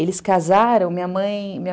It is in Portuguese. Eles casaram, minha mãe